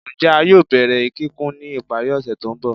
Njẹ a yoo bẹrẹ kikun ni ipari ose to nbọ?